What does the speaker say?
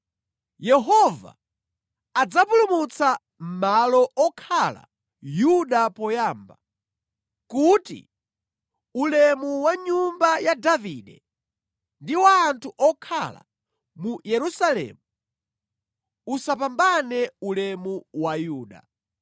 “Yehova adzapulumutsa malo okhala Yuda poyamba, kuti ulemu wa nyumba ya Davide ndi wa anthu okhala mu Yerusalemu usapambane ulemu wa Yuda.